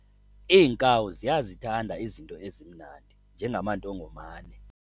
Iinkawu ziyazithanda izinto ezimnandi njengamandongomane.